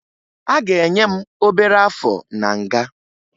A ga-enye m obere áfọ̀ na nga